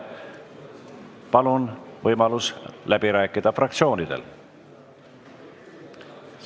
Palun, fraktsioonidel on võimalus läbi rääkida!